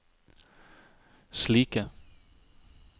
slike